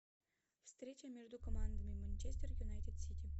встреча между командами манчестер юнайтед сити